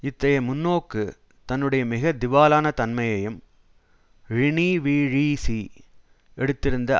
இத்தகைய முன்னோக்கு தன்னுடைய மிக திவாலான தன்மையையும் ழிணீவீஷீஸீ எடுத்திருந்த